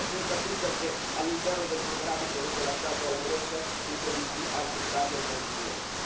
E non è finita qui, perché all'interno del programma che avete lasciato alla Grecia sono previsti altri tagli e altre misure